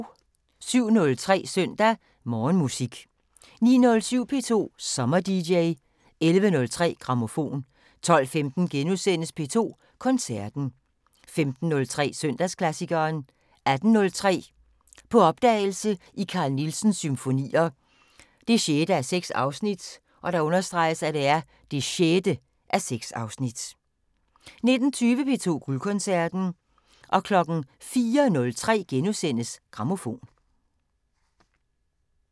07:03: Søndag Morgenmusik 09:07: P2 SommerDJ 11:03: Grammofon 12:15: P2 Koncerten * 15:03: Søndagsklassikeren 18:03: På opdagelse i Carl Nielsens symfonier 6:6 (6:6) 19:20: P2 Guldkoncerten 04:03: Grammofon *